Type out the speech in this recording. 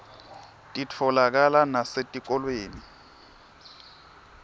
titfolakala nasetikolweni